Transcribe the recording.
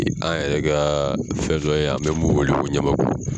An yɛrɛ ka fɛn dɔ ye an bɛ mun wele ko ɲamaku